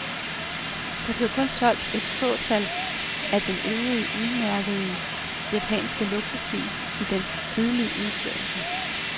Der blev kun solgt et fåtal af den i øvrigt udmærkede japanske luksusbil i dens tidligere udførelse.